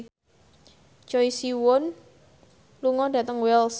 Choi Siwon lunga dhateng Wells